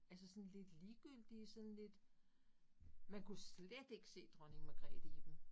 Altså sådan lidt ligegyldige sådan lidt man kunne slet ikke se Dronning Magrethe i dem